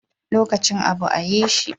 Lokacin abu a yi shi